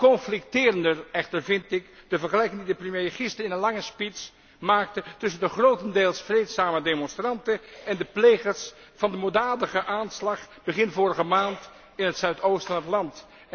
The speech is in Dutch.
Conflicterender echter vind ik de vergelijking die de premier gisteren in een lange speech maakte tussen de grotendeels vreedzame demonstranten en de plegers van de moorddadige aanslag begin vorige maand in het zuidoosten van het land.